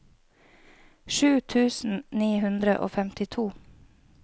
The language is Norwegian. sju tusen ni hundre og femtito